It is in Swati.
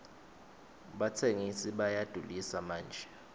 batsengisi bayadulisa manje